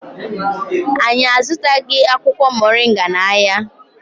Anyị azụtaghị akwụkwọ Mọrịnga n'ahịa.